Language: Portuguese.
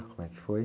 Como é que foi?